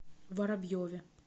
воробьеве